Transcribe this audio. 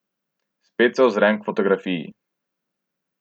Spet se ozrem k fotografiji.